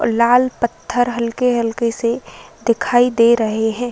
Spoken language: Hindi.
लाल पत्थर हल्के-हल्के से दिखाई दे रहे हैं।